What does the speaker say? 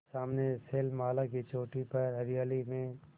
सामने शैलमाला की चोटी पर हरियाली में